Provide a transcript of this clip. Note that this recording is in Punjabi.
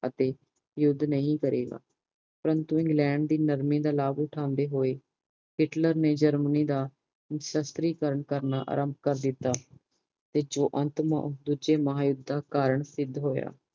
ਅਤੇ ਯੂੱਧ ਨਹੀਂ ਕਰੇਗਾ ਪਰੰਤੂ ਇੰਗਲੈਂਡ ਦੀ ਨਰਮੀ ਦਾ ਲਾਭ ਉਠਾਂਦੇ ਹੋਏ ਹਿਟਲਰ ਨੇ ਜਰਮਨੀ ਦਾ ਨਿਸ਼ਾਤਰੀ ਕਰਨ ਆਰੰਭ ਕਰਨ ਦਿੱਤੋ ਜੋ ਅੰਤ ਦੂਜੇ ਮਹਾਯਧ ਦਾ ਕਰਨ ਸਿੱਧ ਹੋਇਆ